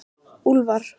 Úlfar